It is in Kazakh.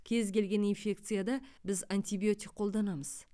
кез келген инфекцияда біз антибиотик қолданамыз